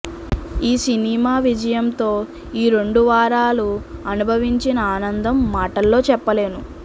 ఈ సినిమా విజయంతో ఈ రెండు వారాలు అనుభవించిన ఆనందం మాటల్లో చెప్పలేను